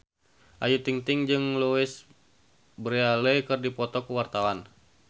Ayu Ting-ting jeung Louise Brealey keur dipoto ku wartawan